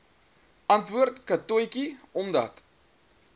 antwoord katotjie omdat